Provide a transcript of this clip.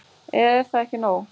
Eða er það ekki nóg?